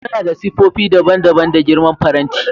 Muna da siffofi daban-daban da girman faranti.